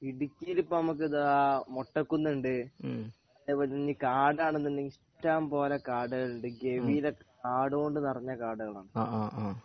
ഇടുക്കിയിൽ ഇപ്പൊ നമ്മക്ക് ഇതാ മൊട്ടക്കുന്നു ഉണ്ട് . ഇനി ഇപ്പൊ കാടാണെങ്കിൽ ഇഷ്ടംപോലെ കാടുകൾ ഉണ്ട് ഗംഭീര കാടു കൊണ്ട് നിറഞ്ഞ കാടാണ്